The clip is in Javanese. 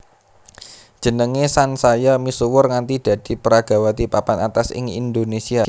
Jenengé sansaya misuwur nganti dadi peragawati papan atas ing Indonésia